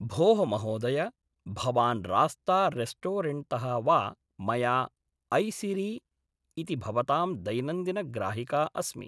भोः महोदय भवान् रास्ता रेस्टोरेण्ट्तः वा मया ऐसिरी इति भवतां दैनन्दिनग्राहिका अस्मि